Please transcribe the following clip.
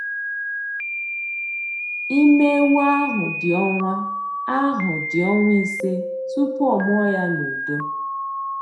Ime ewu ahụ dị ọnwa ahụ dị ọnwa ise tupu ọ mụọ ya na udo.